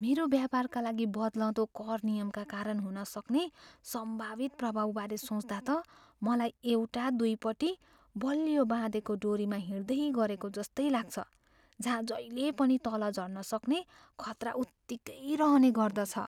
मेरो व्यापारका लागि बद्लँदो कर नियमका कारण हुनसक्ने सम्भावित प्रभावबारे सोच्दा त मलाई एउटा दुईपट्टी बलियो बाँधेको डोरीमा हिँड्दै गरेको जस्तै लाग्छ जहाँ जहिल्यै पनि तल झर्न सक्ने खतरा उत्तिकै रहने गर्दछ।